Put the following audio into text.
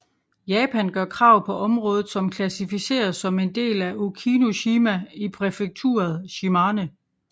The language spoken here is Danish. Japan gør krav på området som klassificeres som en del af Okinoshima i præfekturet Shimane